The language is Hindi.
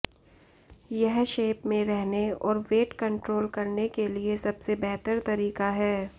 यह शेप में रहने और वेट कंट्रोल करने के लिए सबसे बेहतर तरीका है